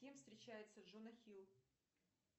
с кем встречается джона хилл